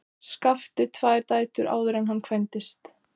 Skafti tvær dætur áður en hann kvæntist.